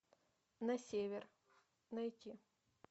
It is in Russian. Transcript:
на север найти